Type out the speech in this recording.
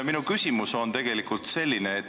Minu küsimus on tegelikult selline.